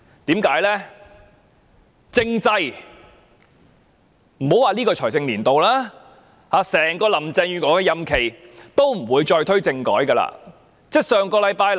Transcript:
原因是，莫說這個財政年度，林鄭月娥在整個任期內也不會再推動政制改革。